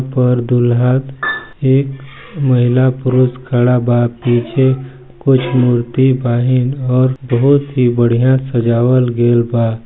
पर दूल्हा एक महिला पुरुष खड़ा बा पीछे कुछ मूर्ति बाहिन और बहुत ही बढ़िया सजावल गएल बा--